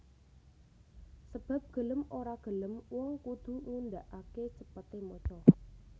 Sebab gelem ora gelem wong kudu ngundhaake cepete maca